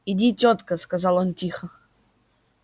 иди тётка сказал он тихо